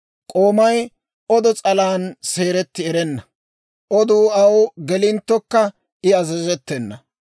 K'oomay c'o odo s'alan seeretti erenna; oduu aw gelinttokka I azazettena.